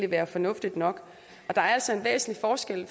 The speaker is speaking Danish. være fornuftigt nok der er altså en væsentlig forskel